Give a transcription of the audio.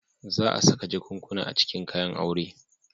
Za a saka jakunkuna a cikin kayan aure.